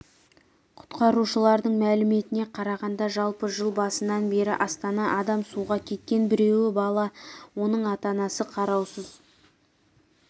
құтқарушылардың мәліметіне қарағанда жалпы жыл басынан бері астанада адам суға кеткен біреуі бала оны ата-анасы қараусыз